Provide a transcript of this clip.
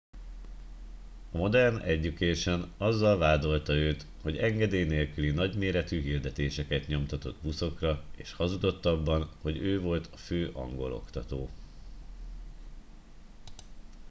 a modern education azzal vádolta őt hogy engedély nélküli nagyméretű hirdetéseket nyomtatott buszokra és hazudott abban hogy ő volt a fő angol oktató